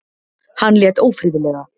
Hann lét ófriðlega.